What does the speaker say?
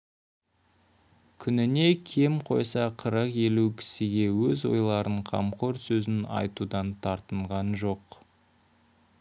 күніне кем қойса қырық-елу кісіге өз ойларын қамқор сөзін айтудан тартынған жоқ